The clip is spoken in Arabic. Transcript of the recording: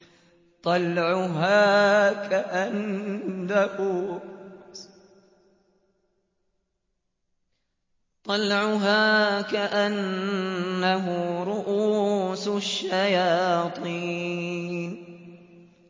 طَلْعُهَا كَأَنَّهُ رُءُوسُ الشَّيَاطِينِ